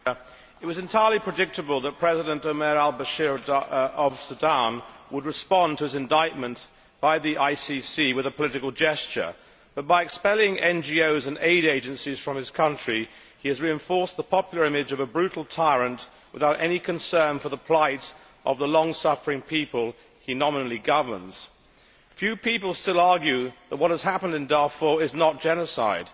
Madam President, it was entirely predictable that President Omar Al Bashir of Sudan would respond to his indictment by the ICC with a political gesture, but by expelling NGOs and aid agencies from his country he has reinforced the popular image of a brutal tyrant, without any concern for the plight of the long suffering people he nominally governs. A few people still argue that what has happened in Darfur is not genocide.